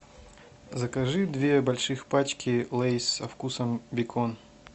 закажи две больших пачки лейс со вкусом бекон